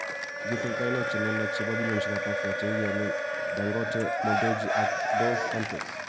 kigisir kainaik che lelach chebo bilioneaishekab Africa chekigiyonien Dangote, Mo Dewji ak Isabel dos Santos